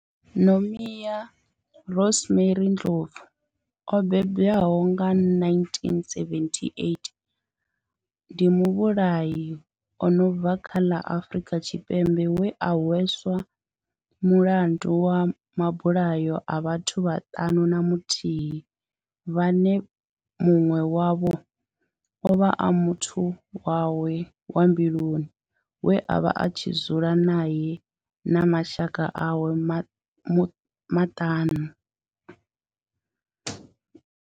Nomia Rosemary Ndlovu o bebiwaho nga 1978 ndi muvhulahi a no bva kha ḽa Afurika Tshipembe we a hweswa mulandu wa mabulayo a vhathu vhaṱanu na muthihi vhane munwe wavho ovha a muthu wawe wa mbiluni we avha a tshi dzula nae na mashaka awe maṱanu.